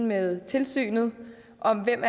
med tilsynet om hvem